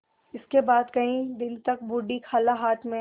इसके बाद कई दिन तक बूढ़ी खाला हाथ में